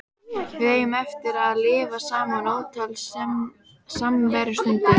Við eigum eftir að lifa saman ótal samverustundir.